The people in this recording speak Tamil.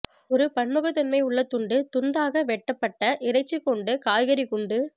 ஒரு பன்முகத்தன்மை உள்ள துண்டு துண்தாக வெட்டப்பட்ட இறைச்சி கொண்டு காய்கறி குண்டு